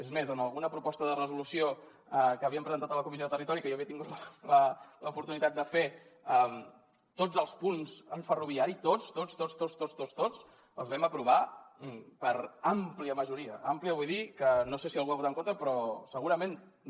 és més en alguna proposta de resolució que havíem presentat a la comissió de territori i que jo havia tingut l’oportunitat de fer tots els punts en ferroviari tots tots tots tots tots tots tots els vam aprovar per àmplia majoria àmplia vull dir que no sé si algú hi va votar en contra però segurament que no